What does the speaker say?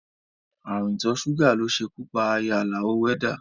Ààrùn ìtọ́ ṣúgà ló ṣekú pa aya Àlàó wẹ́dá